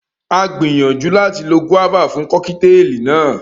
A gbìyànjú láti lo gúáfà fún Kọ́kítelì náà